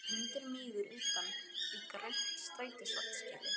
Sé að hundur mígur utan í grænt strætisvagnaskýli.